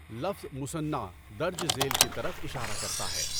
لفظ مُصَنّع درج ذیل کی طرف اِشارہ کرتا ہے۔